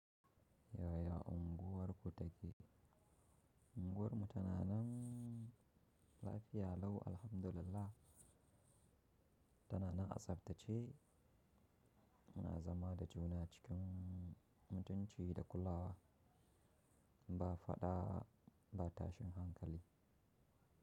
Yaya unguwarku take? Unguwarmu tana nan, lafiya lau! Alhamdulillah! Tana nan a tsaftace, muna zama da juna cikin, mutunci da kulawa. Ba faɗa ba tashin hankali.